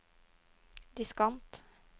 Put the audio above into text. diskant